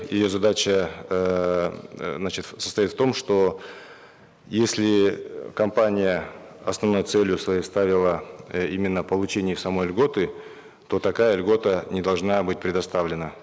ее задача эээ значит состоит в том что если компания основной целью своей ставила э именно получение самой льготы то такая льгота не должна быть предоставлена